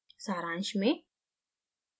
सारांश में